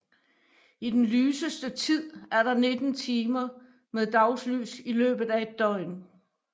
I den lyseste tid er der 19 timer med dagslys i løbet af et døgn